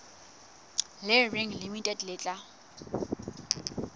le reng limited le tla